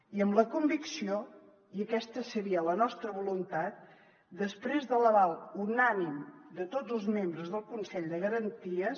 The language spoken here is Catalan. i amb la convicció i aquesta seria la nostra voluntat després de l’aval unànime de tots els membres del consell de garanties